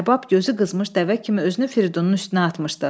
Ərbab gözü qızmış dəvə kimi özünü Fridunun üstünə atmışdı.